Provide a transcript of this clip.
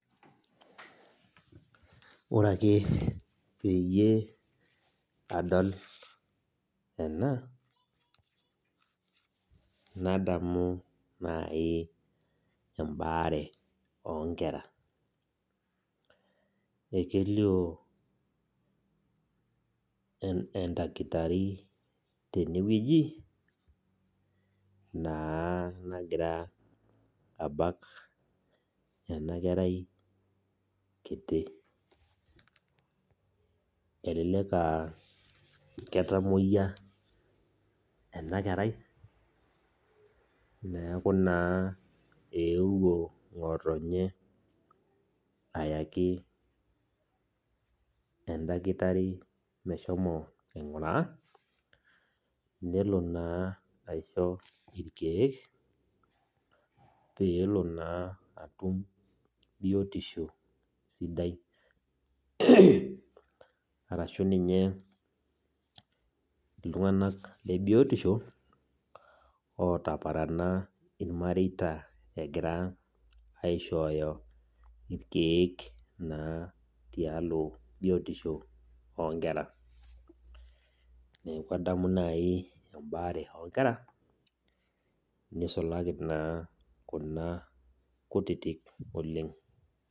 Ore ake peyie adol ena nadamu naaji ebaare oo nkera ekelio edakitari tenewueji naa nagira abak ena kerai kiti elelek ketamuoyia ena kerai neeku naa ewuo ngotonye ayaki edakitari meshomo aiguraa neloo naa aishoo irkeek peloo naa atum biotisho sidai arashu ninye iltung'ana lee biotisho otaparana irmareita egira aishoyo irkeek naa tialo biotisho oo nkera neeku adamu naaji ebaare oo nkera nisulaki naa Kuna kutiti oleng